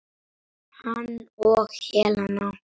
Hann og Helena.